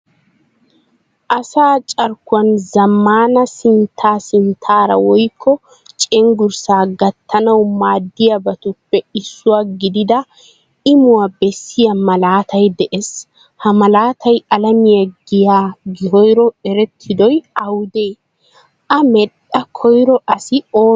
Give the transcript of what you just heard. Asa carkkuwan zamaana sintta sinttaara woykko cenggurssa gattanawu maadiyabatuppe issuwaa gidida Imuwaa beesiya malaatay de'ees. Ha malaatay alamiya giyan koyro erettidoy awude? A medhdha koyro asi oonee?